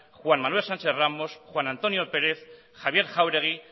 juan manuel sánchez ramos juan antonio pérez javier jauregui